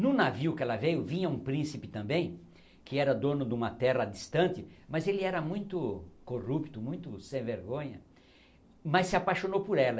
No navio que ela veio, vinha um príncipe também, que era dono de uma terra distante, mas ele era muito corrupto, muito sem vergonha, mas se apaixonou por ela.